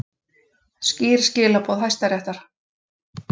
Skýr skilaboð Hæstaréttar